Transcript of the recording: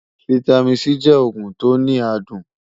fìtámín C jẹ ògùn tó ní àdùn